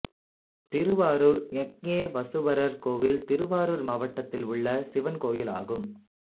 திருவாரூர் யக்ஞேயசுவரர் கோயில் திருவாரூர் மாவட்டத்தில் உள்ள சிவன் கோயிலாகும்